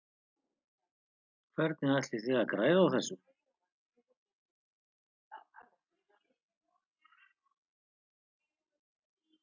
Hvernig ætlið þið að græða á þessu?